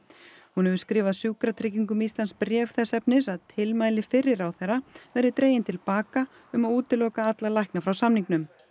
hún hefur skrifað Sjúkratryggingum Íslands bréf þess efnis að tilmæli fyrri ráðherra verði dregin til baka um að útiloka alla lækna frá samningnum